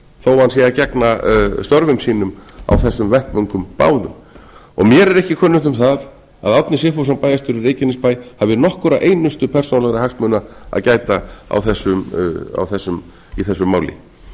þó hann sé að gegna störfum sínum á þessum vettvöngum báðum mér er ekki kunnugt um það að árni sigfússon bæjarstjóri í reykjanesbæ hafi nokkra einustu persónulegra hagsmuna að gæta í þessu máli